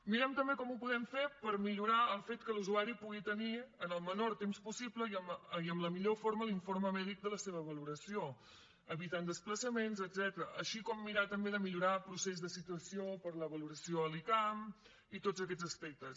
mirem també com ho podem fer per millorar el fet que l’usuari pugui tenir en el menor temps possible i amb la millor forma l’informe mèdic de la seva valoració evitant desplaçaments etcètera així com mirar també de millorar el procés de situació per a la valoració a l’icam i tots aquests aspectes